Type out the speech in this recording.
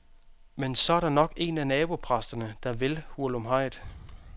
Men så er der nok en af nabopræsterne, der vil hurlumhejet.